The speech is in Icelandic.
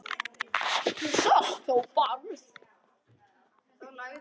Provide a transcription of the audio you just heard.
Þú sást þó Bárð?